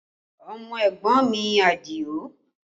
Ọmọ ẹ̀gbọ́n mi Adio